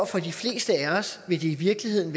for de fleste af os i virkeligheden